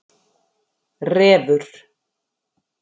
Refur